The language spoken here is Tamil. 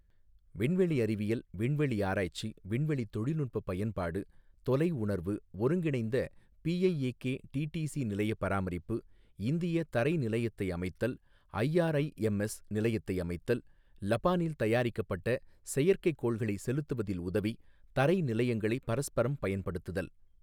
விண்வெளி அறிவியல், விண்வெளி ஆராய்ச்சி, விண்வெளி தொழில்நுட்பப் பயன்பாடு, தொலை உணர்வு, ஒருங்கிணைந்த பிஐஏகே டிடிசி நிலைய பராமரிப்பு, இந்திய தரை நிலையத்தை அமைத்தல், ஐஆர்ஐஎம்எஸ் நிலையத்தை அமைத்தல், லபான் இல் தயாரிக்கப்பட்ட செயற்கை கோள்களை செலுத்துவதில் உதவி, தரை நிலையங்களை பரஸ்பரம் பயன்படுத்துதல்.